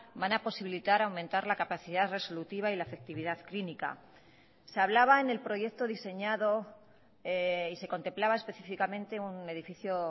van a posibilitar aumentar la capacidad resolutiva y la efectividad clínica se hablaba en el proyecto diseñado y se contemplaba específicamente un edificio